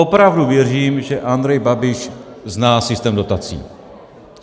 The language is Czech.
Opravdu věřím, že Andrej Babiš zná systém dotací.